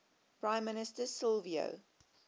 prime minister silvio